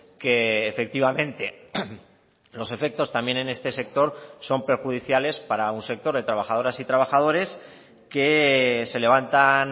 que efectivamente los efectos también en este sector son perjudiciales para un sector de trabajadoras y trabajadores que se levantan